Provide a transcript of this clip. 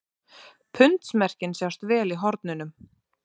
Pundsmerkin sjást vel í hornunum.